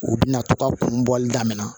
U bɛna to ka kun bɔli daminɛ